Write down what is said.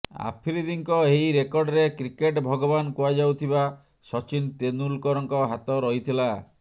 ଆଫ୍ରିଦିଙ୍କ ଏହି ରେକର୍ଡରେ କ୍ରିକେଟ୍ ଭଗବାନ କୁହାଯାଉଥିବା ସଚିନ ତେନ୍ଦୁଲକରଙ୍କ ହାତ ରହିଥିଲା